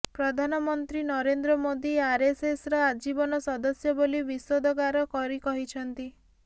ପ୍ରଧାନମନ୍ତ୍ରୀ ନରେନ୍ଦ୍ର ମୋଦୀ ଆରଏସଏସର ଆଜୀବନ ସଦସ୍ୟ ବୋଲି ବିଷୋଦଗାର କରି କହିଛନ୍ତି